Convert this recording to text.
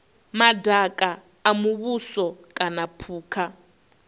madaka a muvhuso kana phukha